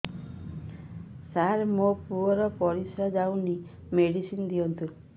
ସାର ମୋର ପୁଅର ପରିସ୍ରା ଯାଉନି ମେଡିସିନ ଦିଅନ୍ତୁ